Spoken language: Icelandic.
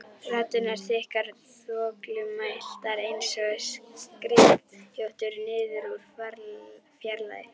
Raddirnar þykkar og þvoglumæltar einsog skrykkjóttur niður úr fjarlægð.